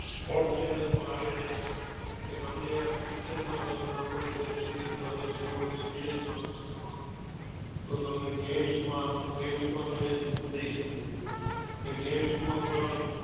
Sport channel પણ આવે છે કે તમે આ picture માં રસ નાં હોય web series માં રસ નાં હોય serial માં રસ નાં હોય તો તમને games માં games તમે લઇ શકો છો ને games માં પણ